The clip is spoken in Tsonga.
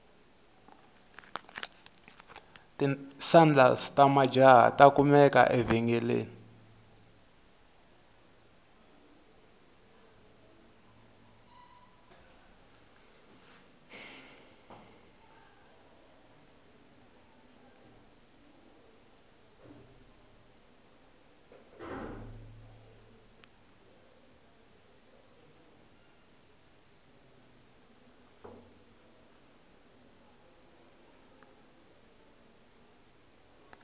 tisandals tamajahha takumeka evengeleni